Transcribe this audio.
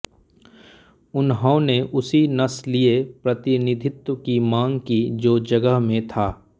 उन्होंने उसी नस्लीय प्रतिनिधित्व की मांग की जो जगह में था